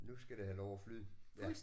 Nu skal det have lov at flyde ja